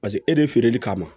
Paseke e de feereli kama